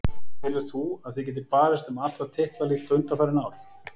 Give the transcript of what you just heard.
Telur þú að þið getið barist um alla titla líkt og undanfarin ár?